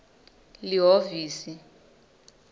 lihhovisi